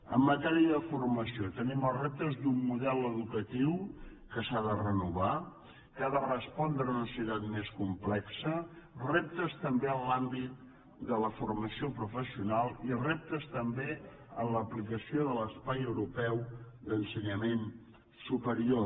en matèria de formació tenim els reptes d’un model educatiu que s’ha de renovar que ha de respondre a una societat més complexa reptes també en l’àmbit de la formació professional i reptés també en l’aplicació de l’espai europeu d’ensenyament superior